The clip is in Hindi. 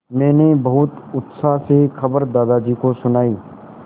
मैंने बहुत उत्साह से खबर दादाजी को सुनाई